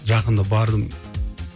жақында бардым